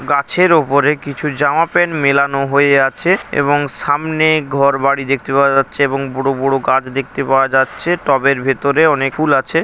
গাছের উপরে কিছু জামা প্যান্ট মেলানো হয়ে আছে। এবং সামনে ঘর বাড়ি দেখতে পাওয়া যাচ্ছে এবং বড়ো বড়ো গাছ দেখতে পাওয়া যাচ্ছে। টবের ভিতরে অনেক ফুল আছে।